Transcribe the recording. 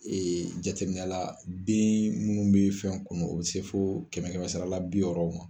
jateminɛ la den minnu bɛ fɛn kunu o bɛ se fo kɛmɛ kɛmɛ sira la bi wɔɔrɔw ma